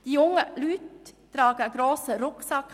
Die jungen Leute tragen einen grossen Rucksack: